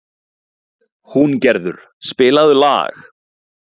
Húngerður, spilaðu lag.